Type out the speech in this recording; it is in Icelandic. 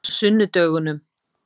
sunnudögunum